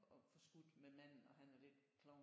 Og forskudt med manden og han er lidt klovn